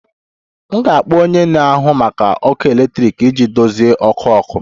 M ga-akpọ onye na-ahụ maka ọkụ eletrik iji dozie ọkụ ọkụ